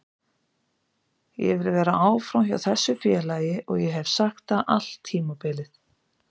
Ég vil vera áfram hjá þessu félagi og ég hef sagt það allt tímabilið.